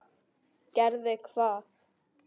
Gerði hvað?